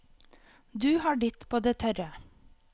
Du har ditt på det tørre.